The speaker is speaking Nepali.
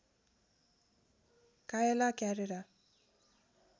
कायला क्यारेरा